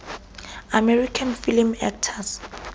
american film actors